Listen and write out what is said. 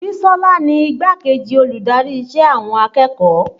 Bisola ni igbá-kejì olùdarí ìṣe àwọn akẹ́kọ̀ọ́